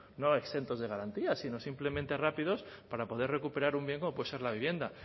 no exentos de garantías sino simplemente rápidos para poder recuperar un bien como puede ser la vivienda